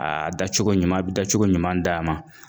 A da cogo ɲuman , da cogo ɲuman d'a ma.